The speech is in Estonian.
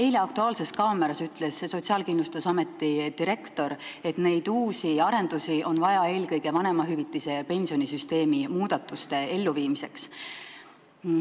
Eilses "Aktuaalses kaameras" ütles Sotsiaalkindlustusameti direktor, et neid uusi arendusi on vaja eelkõige vanemahüvitise- ja pensionisüsteemi muudatuste elluviimiseks.